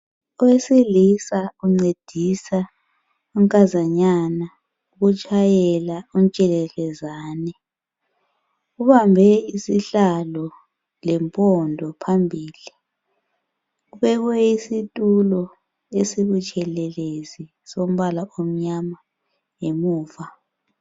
Owesilisa uncedisa unkazanyana ukutshayela untshelelezane. Ubambe isihlalo lempondo phambili. Kubekwe isitulo esibutshelezi sombala omnyama ngemuva.